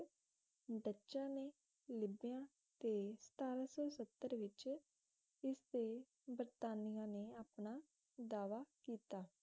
ਡੱਚਾਂ ਨੇ ਲਿਬੀਆ ਤੇ ਸਤਾਰਹਾ ਸੌ ਸੱਤਰ ਵਿੱਚ ਇਸ ਤੇ ਬਰਤਾਨੀਆ ਨੇ ਅਪਣਾ ਦਾਅਵਾ ਕੀਤਾ